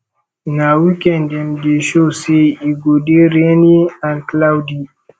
na weekend dem dey show say e go dey rainy and cloudy